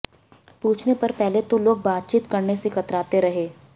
पूछने पर पहले तो लोग बातचीत करने से कतराते रहे